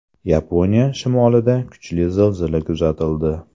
Yaponiya shimolida kuchli zilzila kuzatildi.